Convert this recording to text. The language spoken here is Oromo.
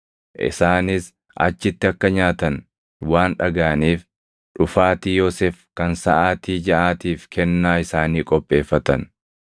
Isaanis achitti akka nyaatan waan dhagaʼaniif dhufaatii Yoosef kan saʼaatii jaʼaatiif kennaa isaanii qopheeffatan.